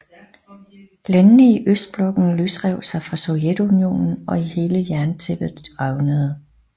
Landene i østblokken løsrev sig fra Sovjetunionen og hele jerntæppet revnede